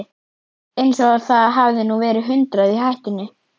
Eins og það hefði nú verið hundrað í hættunni.